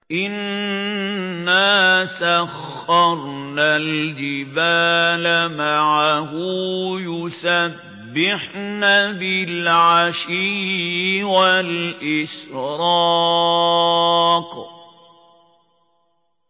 إِنَّا سَخَّرْنَا الْجِبَالَ مَعَهُ يُسَبِّحْنَ بِالْعَشِيِّ وَالْإِشْرَاقِ